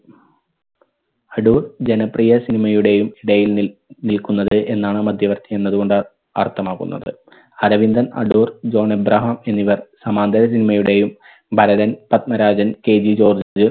അടൂർ ജനപ്രിയ cinema യുടെയും ഇടയിൽ നിൽ നിൽക്കുന്നത് എന്നാണ് മധ്യവർത്തി എന്നത് കൊണ്ട് അർത്ഥമാക്കുന്നത്. അരവിന്ദർ അടൂർ ജോൺ അബ്രഹാം എന്നിവർ സമാന്തര cinema യുടെയും ഭരതൻ പത്മരാജൻ KG ജോർജ്